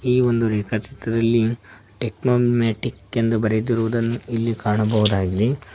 ಈ ಒಂದು ರೇಖಾ ಚಿತ್ರದಲ್ಲಿ ಟೆಕ್ನೋಮೆಟಿಕ್ ಎಂದು ಬರೆದಿರುವುದನ್ನು ಇಲ್ಲಿ ಕಾಣಬಹುದಾಗಿದೆ.